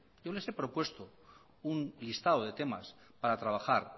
yo les he propuesto un listado de temas para trabajar